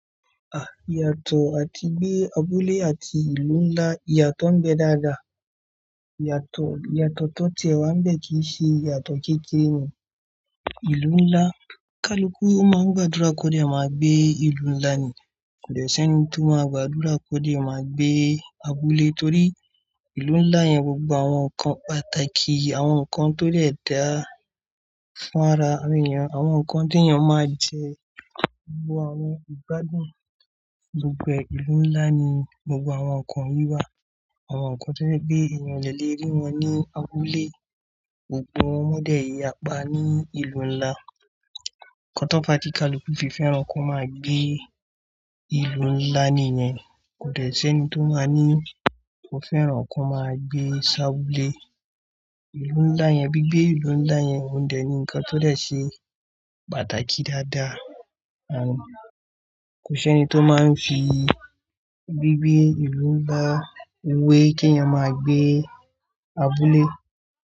Ah, ìyàtọ̀ àti gbé abúlé àti ìlú ńlá, ìyàtọ̀ ń bẹ dáadáa. Ìyàtọ̀, ìyàtọ̀ tó tie wa ń bẹ kì í ṣe ìyàtọ̀ kékeré ni. Ìlú ńlá, kaluku máa ń gbàdúrà kó dè máa gbé ìlú ńlá ni. Kò dẹ̀ ẹ́ ṣé ni tó máa gbàdúrà kó dè máa gbé abúlé torí ìlú ńlá yẹn gbogbo àwọn nǹkan pàtàkì, àwọn nǹkan tó dè dáa fún ara ènìyàn, àwọn nǹkan tí ènìyàn máa ń jẹ, gbogbo àwọn ìgbádùn gbogbo ìlú ńlá ni gbogbo àwọn nǹkan yiwa. Àwọn nǹkan tó jè pe ènìyàn o le ri wọn ní abúlé. Òpò wọ́n dẹ̀ yàpá ní ìlú ńlá. Nkan tó fa tí kaluku fi fẹ́ràn kí wọ́n máa gbé ìlú ńlá nìyẹn. Kò dẹ̀ ẹ́ ṣé eni tó máa ní, ó fẹ́ràn kí wọ́n máa gbé ṣábúlé. Ìlú ńlá yẹn, gbigbé ìlú ńlá yẹn, òún dẹ̀ ní ǹkan tó de ṣe pàtàkì dáadáa. Àń, kò ṣe ni tó máa ń fi bí gbé ìlú ńlá wé kí ènìyàn máa gbé abúlé.